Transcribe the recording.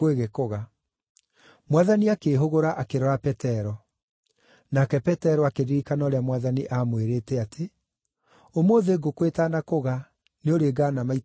Mwathani akĩĩhũgũra akĩrora Petero. Nake Petero akĩririkana ũrĩa Mwathani aamwĩrĩte atĩ, “Ũmũthĩ ngũkũ ĩtanakũga nĩũrĩngaana maita matatũ.”